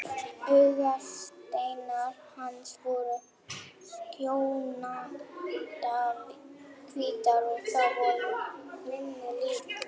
Augasteinar hans voru skjannahvítir og það voru mínir líka.